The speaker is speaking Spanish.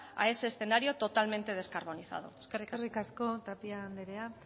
a ese escenario totalmente descarbonizado eskerrik asko eskerrik asko tapia anderea